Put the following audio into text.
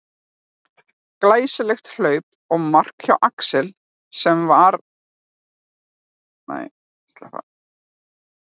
Glæsilegt hlaup og mark hjá Axel sem að var með varnarmann í sér allan tímann.